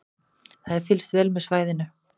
Það er fylgst vel með svæðinu